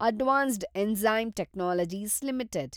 advanced enzyme technologies limited